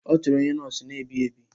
Ọ chọrọ onye nọọsụ na-ebi ebi.